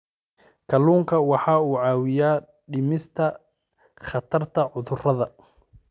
Kalluunku waxa uu caawiyaa dhimista khatarta cudurrada.